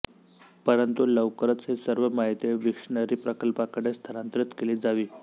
परंतु लवकरच ही सर्व माहिती विक्शनरी प्रकल्पाकडे स्थानांतरित केली जावी